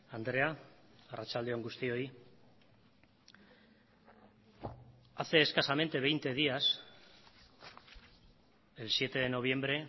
andrea arratsalde on guztioi hace escasamente veinte días el siete de noviembre